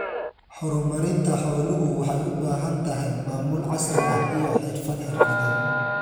Horumarinta xooluhu waxay u baahan tahay maamul casri ah iyo xirfad xirfadeed.